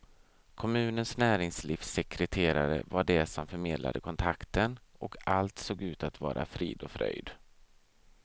Kommunens näringslivssekreterare var det som förmedlade kontakten och allt såg ut att vara frid och fröjd.